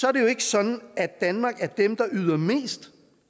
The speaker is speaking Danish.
er det jo ikke sådan at danmark er dem der yder mest